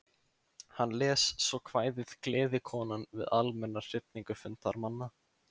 Hann les svo kvæðið Gleðikonan við almenna hrifningu fundarmanna.